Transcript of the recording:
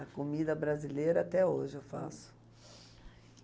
A comida brasileira até hoje eu faço.